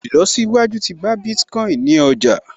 Ìlọsíwájú tí bá Bitcoin ní ọjà